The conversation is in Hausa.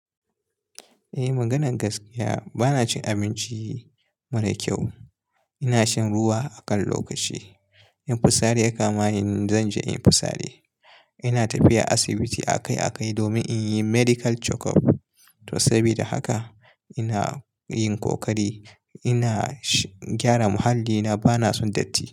Eh, maganan gaskiya bana cin abinci mara kyau. Ina shan ruwa akan lokaci. In fisari ya kama ni, zan je inyi fisare. Ina tafiya asibiti akai-akai domin in yi medical checkup. To, sabida haka ina yin kokari, ina gyara muhallina. Bana son datti.